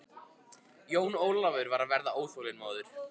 Jón Ólafur var að verða óþolinmóður.